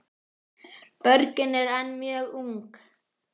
Borgin er enn mjög ung.